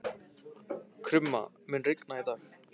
Krumma, mun rigna í dag?